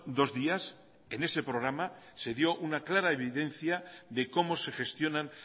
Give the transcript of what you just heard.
dos días en ese programa se dio una clara evidencia de cómo se gestionan